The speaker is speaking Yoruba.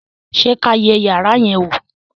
ṣe kí a yé iyàrá yen wọ